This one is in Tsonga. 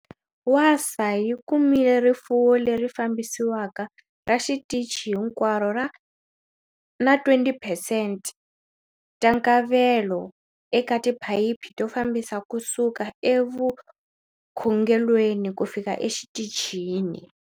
Wasaa yi kumile rifuwo leri fambisiwaka ra xitichi hinkwaro na 20 percent ta nkavelo eka tiphayiphi to fambisa kusuka evukhungelweni kufika exitichini.